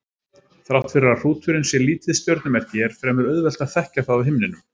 Þrátt fyrir að hrúturinn sé lítið stjörnumerki er fremur auðvelt að þekkja það á himninum.